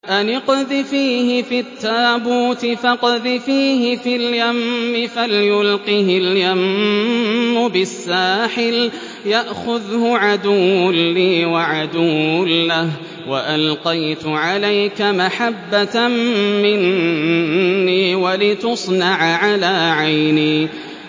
أَنِ اقْذِفِيهِ فِي التَّابُوتِ فَاقْذِفِيهِ فِي الْيَمِّ فَلْيُلْقِهِ الْيَمُّ بِالسَّاحِلِ يَأْخُذْهُ عَدُوٌّ لِّي وَعَدُوٌّ لَّهُ ۚ وَأَلْقَيْتُ عَلَيْكَ مَحَبَّةً مِّنِّي وَلِتُصْنَعَ عَلَىٰ عَيْنِي